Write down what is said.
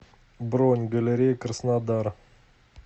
бронь галерея краснодар